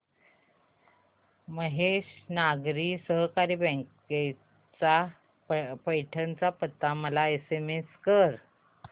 महेश नागरी सहकारी बँक चा पैठण चा पत्ता मला एसएमएस कर